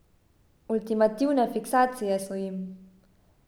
Ultimativne fiksacije so jim.